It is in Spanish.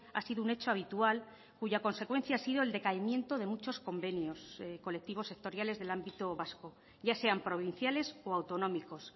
ha sido un hecho habitual cuya consecuencia ha sido el decaimiento de muchos convenios colectivos sectoriales del ámbito vasco ya sean provinciales o autonómicos